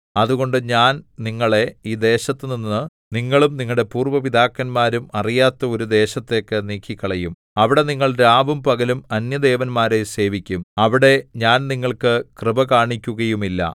അതുകൊണ്ട് ഞാൻ നിങ്ങളെ ഈ ദേശത്തുനിന്ന് നിങ്ങളും നിങ്ങളുടെ പൂര്‍വ്വ പിതാക്കന്മാരും അറിയാത്ത ഒരു ദേശത്തേക്ക് നീക്കിക്കളയും അവിടെ നിങ്ങൾ രാവും പകലും അന്യദേവന്മാരെ സേവിക്കും അവിടെ ഞാൻ നിങ്ങൾക്ക് കൃപ കാണിക്കുകയുമില്ല